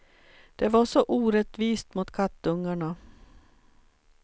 Det var så orättvist mot kattungarna.